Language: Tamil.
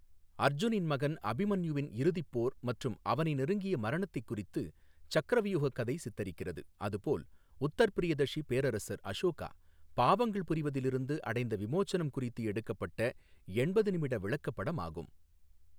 அர்ஜுனின் மகன் அபிமன்யுவின் இறுதிப் போர் மற்றும் அவனை நெருங்கிய மரணத்தைக் குறித்து சக்ரவ்யூஹ கதை சித்தரிக்கிறது, அது போல் உத்தர்ப்ரியதஷி பேரரசர் அஷோகா பாவங்கள் புரிவதிலிருந்து அடைந்த விமோசனம் குறித்து எடுக்கப்பட்ட எண்பது நிமிட விளக்கப்படமாகும்.